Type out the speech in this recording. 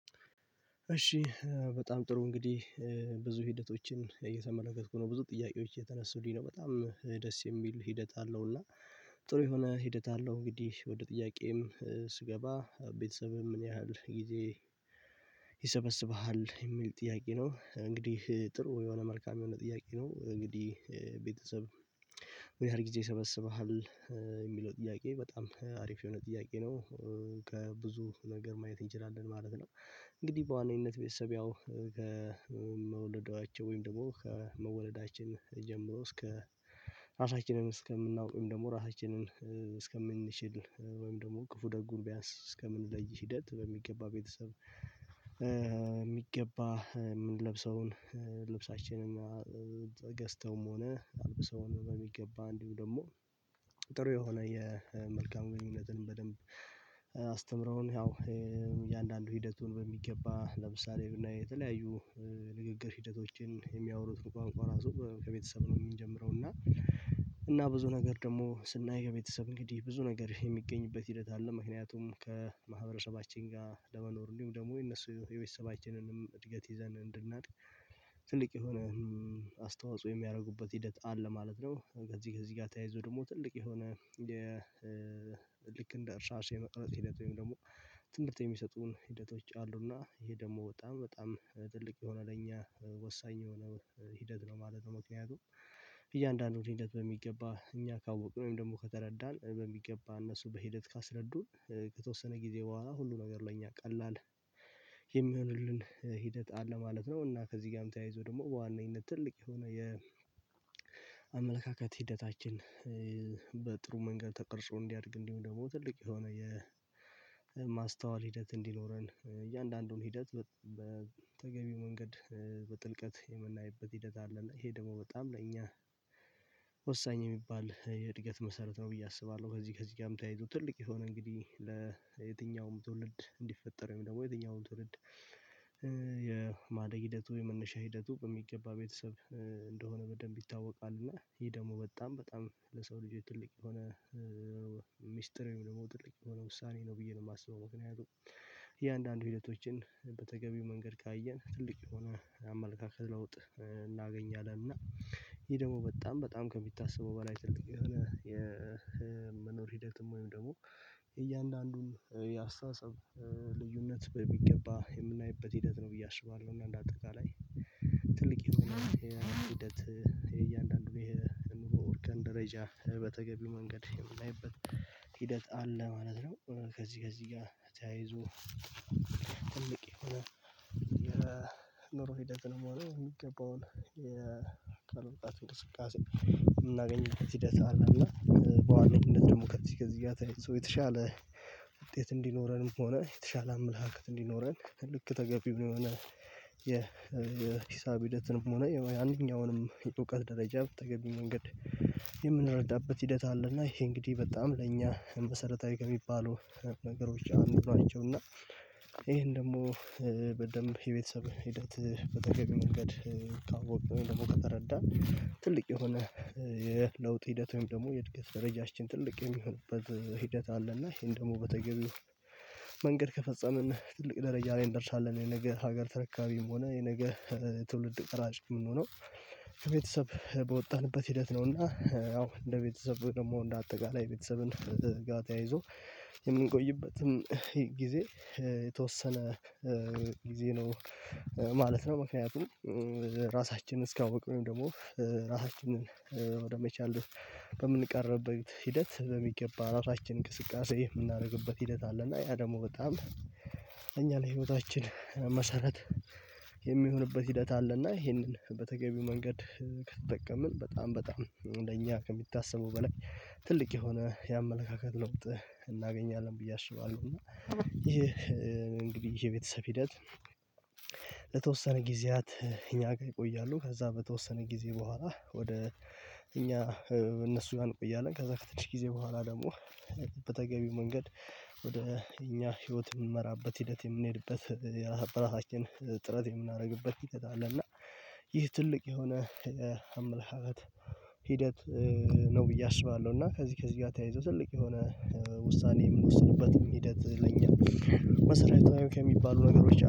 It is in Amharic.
እሺ በጣም ጥሩ እንግዲህ ብዙ ሂደቶችን እየተመለከትኩ ነው ብዙ ጥያቄዎች የተነሱልኝ ነው በጣም ደስ የሚል ሂደት አለው። እና ጥሩ የሆነ ሂደት አለው። እንግዲህ ወደ ጥያቄም ስገባ ቤተሰብህ ምን ያህል ጊዜ ይሰበስብሃል የሚል ጥያቄ ነው? እንግዲህ ጥሩ የሆነ መልካም የሆነ ጥያቄ ነው። እንግዲህ ቤተሰብ ወይ ምን ያህል ጊዜ ይሰበስብሃል የሚለው ጥያቄ በጣም አሪፍ የሆነ ጥያቄ ነው። ከብዙ ነገር ማየት እንችላለን ማለት ነው። እንግዲህ በዋነኝነት ቤተሰብ ያው ከመወለዷቸው ወይም ደግሞ ከመወለዳችን ጀምሮ እስከ ራሳችንን እስከምናውቅ ወይም ደግሞ ራሳችንን እስከምንችል ወይም ደግሞ ክፉ ደጉን ቢያንስ እስከምንለይ ሂደት በሚገባ ቤተሰብ የሚገባ የምንለብሰውን ልብሳችንን ገዝተውም ሆነ አልብሰውን በሚገባ እንዲሁም ደግሞ ጥሩ የሆነ የመልካም ግንኙነትን በደንብ አስተምረውን ያው እያንዳንዱ ሂደቱን በሚገባ ለምሳሌ ብናይ የተለያዩ ንግግር ሂደቶችን የሚያወሩትን ቋንቋ ራሱ ከቤተሰብ ነው። የሚጀምረው እና እና ብዙ ነገር ደግሞ ስናይ የቤተሰብ እንግዲህ ብዙ ነገር የሚገኝበት ሂደት አለ። ምክንያቱም ከማህበረሰባችን ጋር ለመኖር እንዲሁም ደግሞ የነሱ የቤተሰባችንንም እድገት ይዘን እንድናድግ ትልቅ የሆነ አስተዋጽኦ የሚያደርጉበት ሂደት አለ ማለት ነው። ከዚህ ከዚህ ጋር ተያይዞ ደግሞ ትልቅ የሆነ የልክ እንደ እርሻ አርሶ የመቅረት ሂደት ወይም ደግሞ ትምርት የሚሰጡን ሂደቶች አሉና ይሄ ደግሞ በጣም በጣም ትልቅ የሆነ ለእኛ ወሳኝ የሆነ ሂደት ነው ማለት ነው። ምክንያቱም እያንዳንዱን ሂደት በሚገባ እኛ ካወቅን ወይም ደግሞ ከተረዳን በሚገባ እነሱ በሂደት ካስረዱን ከተወሰነ ጊዜ በኋላ ሁሉ ነገር ለኛ ቀላል የሚሆንልን ሂደት አለ ማለት ነው። እና ከዚህ ጋርም ተያይዞ ደግሞ በዋነኝነት ትልቅ የሆነ የ አመለካከት ሂደታችን በጥሩ መንገድ ተቀርጾ እንዲያድግ እንዲሆን ደግሞ ትልቅ የሆነ የ ማስተዋል ሂደት እንዲኖረን እያንዳንዱን ሂደት በተገቢው መንገድ በጥልቀት የምናይበት ሂደት አለ ይሄ ደግሞ በጣም ለኛ ወሳኝ የሚባል የእድገት መሰረት ነው ብዬ አስባለሁ። ከዚህ ከዚህ ጋርም ተያይቶ ትልቅ የሆነ እንግዲህ ለየትኛውም ትውልድ እንዲፈጠር ወይም ደግሞ የትኛውም ትውልድ የማደግ ሂደቱ የመነሻ ሂደቱ በሚገባ ቤተሰብ እንደሆነ በደንብ ይታወቃል። እና ይሄ ደግሞ በጣም በጣም ለሰው ልጅ ትልቅ የሆነ ወይም ደግሞ ትልቅ የሆነ ውሳኔ ነው ብዬ ነው የማስበው። ምክንያቱም እያንዳንዱ ሂደቶችን በተገቢው መንገድ ካየን ትልቅ የሆነ አመለካከት ለውጥ እናገኛለን እና ይሄ ደግሞ በጣም በጣም ከሚታሰበው በላይ ትልቅ የሆነ የመኖር ሂደትም ወይም ደግሞ እያንዳንዱን የአስተሳሰብ ልዩነት በሚገባ የምናይበት ሂደት ነው ብዬ አስባለሁ። እና እንደ አጠቃላይ ትልቅ የሆነ ሂደት እያንዳንዱ ይሄ እንበል ወርቀን ደረጃ በተገቢው መንገድ የምናይበት ሂደት አለ ማለት ነው። ከዚህ ከዚህ ጋር ተያይዞ ትልቅ የሆነ የኑሮ ሂደትንም ሆነ የሚገባውን የቃል ወጣት እንቅስቃሴ የምናገኝበት ሂደት አለና በዋነኝነት ደግሞ ከዚህ ከዚህ ጋር ተያይዞ የተሻለ ውጤት እንዲኖረንም ሆነ የተሻለ አመለካከት እንዲኖረን ልክ ተገቢ ብሎ የሆነ የሂሳብ ሂደትንም ሆነ የአንደኛውንም እውቀት ደረጃ በተገቢው መንገድ የምንረዳበት ሂደት አለና ይሄ እንግዲህ በጣም ለእኛ መሰረታዊ ከሚባሉ ነገሮች አንዱ ናቸው። እና ይሄን ደግሞ በደንብ የቤተሰብ ሂደት በተገቢው መንገድ ካወቅን ወይም ደግሞ ከተረዳን ትልቅ የሆነ የለውጥ ሂደት ወይም ደግሞ የእድገት ደረጃችን ትልቅ የሚሆንበት ሂደት አለ እና ይሄን ደግሞ በተገቢ መንገድ ከፈጸምን ትልቅ ደረጃ ላይ እንደርሳለን። የነገ ሀገር ተረካቢም ሆነ የነገ ትውልድ ቀራጭ የምንሆነው ከቤተሰብ በወጣንበት ሂደት ነውና። አዎ እንደ ቤተሰብ ደግሞ እንደ አጠቃላይ ቤተሰብን ጋር ተያይዞ የምንቆይበትም ጊዜ የተወሰነ ጊዜ ነው ማለት ነው። ምክንያቱም ራሳችንን እስካወቁኝ ደግሞ ራሳችንን ወደመቻል በምንቀርበት ሂደት በሚገባ ራሳችን እንቅስቃሴ የምናደርግበት ሂደት አለና ያ ደግሞ በጣም እኛ ለህይወታችን መሰረት የሚሆንበት ሂደት አለ እና ይሄንን በተገቢው መንገድ ከተጠቀምን በጣም በጣም እንደኛ ከሚታሰበው በላይ ትልቅ የሆነ የአመለካከት ለውጥ እናገኛለን ብዬ አስባለሁ። እና ይሄ እንግዲህ የቤተሰብ ሂደት ለተወሰነ ጊዜያት እኛ ጋር ይቆያሉ ከዛ በተወሰነ ጊዜ በኋላ ወደ እኛ እነሱ ጋ ቆያለን ከዛ ከትንሽ ጊዜ በኋላ ደግሞ በተገቢው መንገድ ወደ እኛ ህይወት የምንመራበት ሂደት የምንሄድበት የራሳ በራሳችን ጥረት የምናደርግበት ሂደት አለ። እና ይህ ትልቅ የሆነ የምልሃለት ሂደት ነው ብዬ አስባለሁ። እና ከዚህ ከዚህ ጋር ተያይዞ ትልቅ የሆነ ውሳኔ የምንወስንበትም ሂደት ለኛ መሰረታዊ ከሚባሉ ነገሮች